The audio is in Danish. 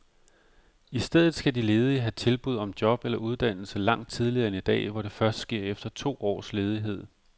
I stedet skal de ledige have tilbud om job eller uddannelse langt tidligere end i dag, hvor det først sker efter to års ledighed.